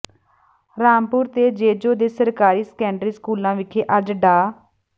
ਰਾਮਪੁਰ ਤੇ ਜੇਜੋਂ ਦੇ ਸਰਕਾਰੀ ਸੈਕੰਡਰੀ ਸਕੂਲਾਂ ਵਿਖੇ ਅੱਜ ਡਾ